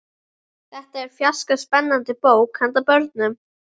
Þetta er fjarska spennandi bók handa börnum.